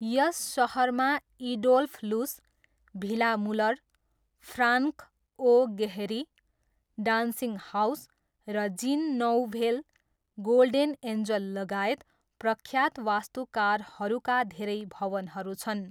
यस सहरमा Adolf Loos, Villa Muller, Frank O Gehry, Dancing House, र Jean Nouvel, Golden एन्जललगायत प्रख्यात वास्तुकारहरूका धेरै भवनहरू छन्।